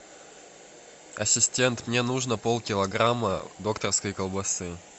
ассистент мне нужно полкилограмма докторской колбасы